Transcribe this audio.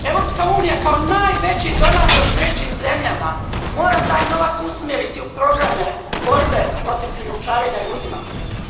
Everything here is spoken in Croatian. Europska unija kao najveći donator trećim zemljama mora taj novac usmjeriti u programe borbe protiv krijumčarenja ljudi,